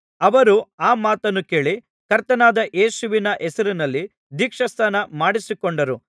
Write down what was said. ಅವರು ಆ ಮಾತನ್ನು ಕೇಳಿ ಕರ್ತನಾದ ಯೇಸುವಿನ ಹೆಸರಿನಲ್ಲಿ ದೀಕ್ಷಾಸ್ನಾನ ಮಾಡಿಸಿಕೊಂಡರು